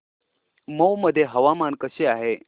मौ मध्ये हवामान कसे आहे